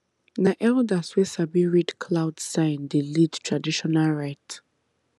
na elders wey sabi read cloud sign dey lead traditional rite